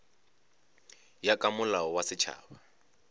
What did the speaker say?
ya ka molao wa setšhaba